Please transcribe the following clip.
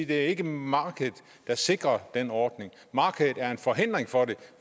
det ikke er markedet der sikrer den ordning markedet er en forhindring for det